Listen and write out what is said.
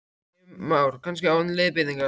Heimir Már: Kannski án leiðbeiningar?